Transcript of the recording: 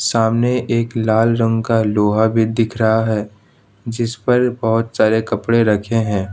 सामने एक लाल रंग का लोहा भी दिख रहा है जिस पर बहुत सारे कपड़े रखे हैं।